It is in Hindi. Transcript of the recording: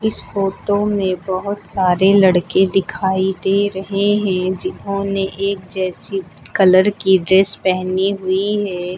इस फोटो में बहुत सारे लड़के दिखाई दे रहे हैं जिन्होंने एक जैसी कलर की ड्रेस पहनी हुई है।